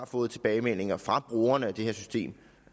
får tilbagemeldinger fra brugerne af det her system